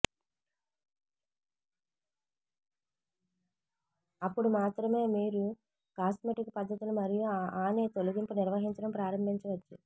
అప్పుడు మాత్రమే మీరు కాస్మెటిక్ పద్ధతుల మరియు ఆనె తొలగింపు నిర్వహించడం ప్రారంభించవచ్చు